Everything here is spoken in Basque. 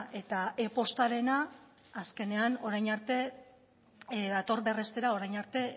eta e postarena azkenean orain arte dator berrestera orain arte